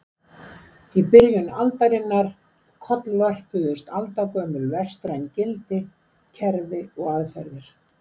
Í byrjun aldarinnar kollvörpuðust aldagömul vestræn gildi, kerfi og aðferðir.